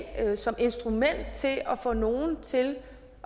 som instrument til at få nogle til